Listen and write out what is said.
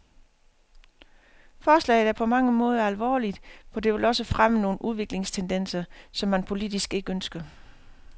Forslaget er på mange måder alvorligt, for det vil også fremme nogle udviklingstendenser, som man politisk ikke ønsker.